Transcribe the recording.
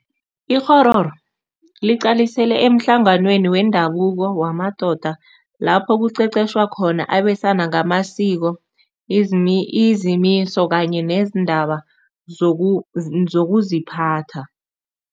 Ikghororo liqalisele emhlanganweni wendabuko wamadoda lapho kuqeqetjhwa khona abesana ngamasiko, izimiso kanye nezindaba zokuziphatha.